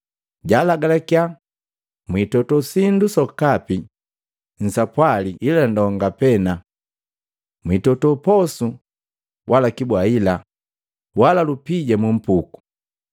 jalagalakiya, “Mwiitoto sindu sokapi nsapwali ila ndonga pena. Mwitoto posu, wala kibwaila, wala lupija mupuku.